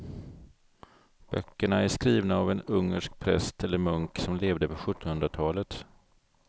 Böckerna är skrivna av en ungersk präst eller munk som levde på sjuttonhundratalet.